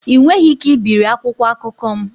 Ị nweghị ike ibiri akwụkwọ akụkọ m